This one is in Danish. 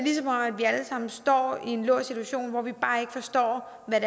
sammen står i en låst situation hvor vi bare ikke forstår hvad